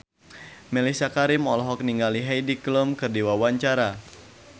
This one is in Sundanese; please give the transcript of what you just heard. Mellisa Karim olohok ningali Heidi Klum keur diwawancara